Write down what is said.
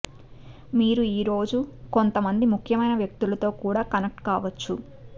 మీరు ఈ రోజు కొంతమంది ముఖ్యమైన వ్యక్తులతో కూడా కనెక్ట్ కావచ్చు